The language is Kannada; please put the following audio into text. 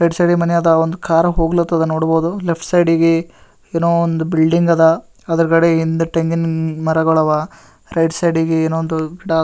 ರೈಟ್ ಸೈಡ್ ಮನೆ ಅದ ಒಂದ್ ಕಾರ್ ಹೋಗ್ಲ ಹತ್ತದ್ ನೋಡಬಹುದು ಲೆಫ್ಟ್ ಸೈಡ್ ಗೆ ಏನೋ ಒಂದ್ ಬಿಲ್ಡಿಂಗ್ ಅದ ಅದರ ಹಿಂದೆ ತೆಂಗಿನ ಮರಗಳು ಅವ ರೈಟ್ ಸೈಡ್ ಗೆ ಒಂದು ಗಿಡ --